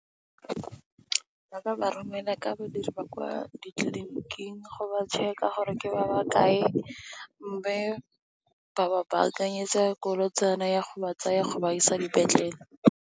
Ba ba romela ka badiri ba kwa ditliliniking go ba tšheka gore ke ba ba kae. Mme, ba ba bankanyetse koloitsane ya go ba tsaya go ba isa dipetlele.